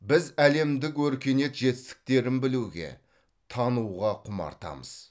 біз әлемдік өркениет жетістіктерін білуге тануға құмартамыз